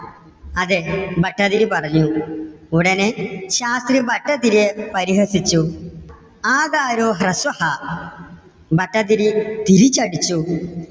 അതെ ഭട്ടതിരി പറഞ്ഞു. ഉടനെ ശാസ്ത്രി ഭട്ടതിരിയെ പരിഹസിച്ചു ആകാരോ ഹ്രസ്വഹാ ഭട്ടതിരി തിരിച്ചടിച്ചു.